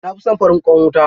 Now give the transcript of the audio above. Na fi son farin ƙwan wuta.